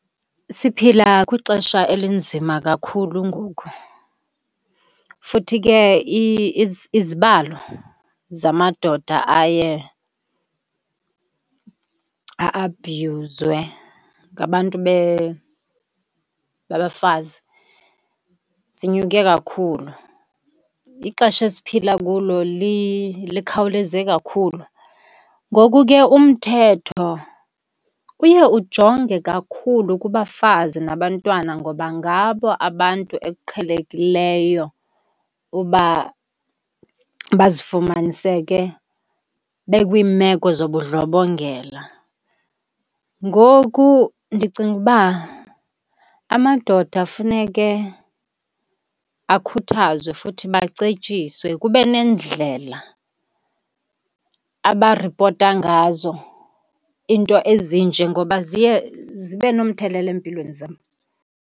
Siphila kwixesha elinzima kakhulu ngoku, futhi ke izibalo zamadoda aye a-abhuyuzwe ngabantu babafazi sinyuke kakhulu. Ixesha esiphila kulo likhawuleze kakhulu. Ngoku ke umthetho uye ujonge kakhulu kubafazi nabantwana ngoba ngabo abantu ekuqhelekileyo uba bazifumaniseke bekwiimeko zobudlobongela. Ngoku ndicinga ukuba amadoda funeke akhuthazwe futhi bacetyiswe. Kube neendlela abaripota ngazo iinto ezinje ngoba ziye zibe nomthelela empilweni zabo.